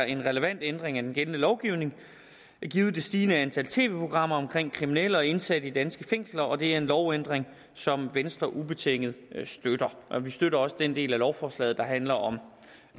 en relevant ændring af den gældende lovgivning givet det stigende antal tv programmer om kriminelle og indsatte i danske fængsler og det er en lovændring som venstre ubetinget støtter vi støtter også den del af lovforslaget der handler om